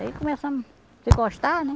Aí começamos se gostar, né?